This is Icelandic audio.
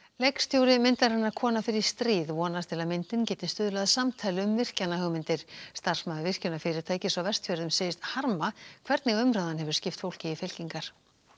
leikstjóri myndarinnar kona fer í stríð vonast til að myndin geti stuðlað að samtali um virkjanahugmyndir starfsmaður virkjunarfyrirtækis á Vestfjörðum segist harma hvernig umræðan hefur skipt fólki í fylkingar